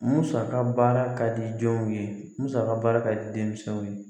Musaka baara ka di jɔnw ye musaka baara ka di denmisɛnw ye